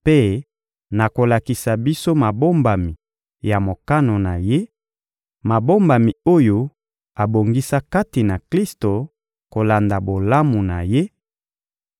mpe na kolakisa biso mabombami ya mokano na Ye, mabombami oyo abongisa kati na Klisto kolanda bolamu na Ye,